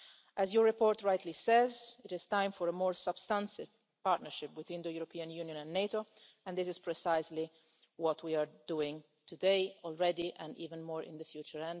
As your report rightly says it is time for a more substantial partnership between the European Union and NATO, and this is precisely what we are doing today, and we will continue to do even more in the future.